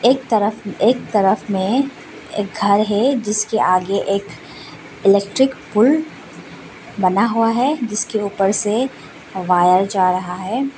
एक तरफ एक तरफ में एक घर है जिसके आगे एक इलेक्ट्रिक पूल बना हुआ है जिसके ऊपर से वायर जा रहा है।